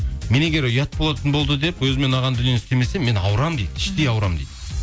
мен егер ұят болатын болды деп өзіме ұнаған дүние істемесем мен ауырамын дейді іштей ауырамын дейді